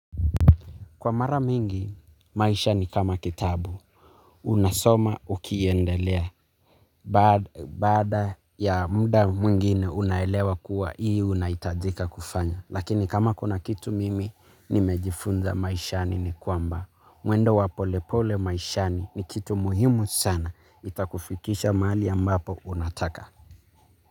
Kwa mara mingi, maisha ni kama kitabu, unasoma ukiendelea, baada ya muda mwingine unaelewa kuwa hii unaitajika kufanya, lakini kama kuna kitu mimi, nimejifunza maisha ni kwamba, mwendo wa polepole maishani ni kitu muhimu sana, itakufikisha mahali ambapo unataka.